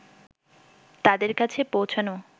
তাদের কাছে পৌঁছানো